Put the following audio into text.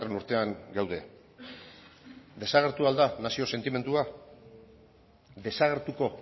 urtean gaude desagertu al da nazio sentimendua desagertuko